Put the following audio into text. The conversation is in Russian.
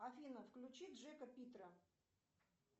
афина включи джека питера